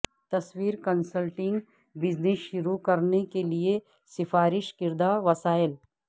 تصویری consulting business شروع کرنے کے لئے سفارش کردہ وسائل